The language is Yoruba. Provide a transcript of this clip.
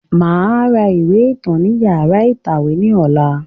Màá ra ìwé ìtàn ni yàrá ìtàwé ní ọ̀la